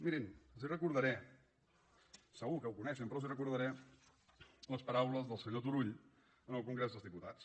mirin segur que ho coneixen però els recordaré les paraules del senyor turull en el congrés dels diputats